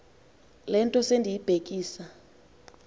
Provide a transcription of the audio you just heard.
le nto sendiyibhekisa